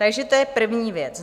Takže to je první věc.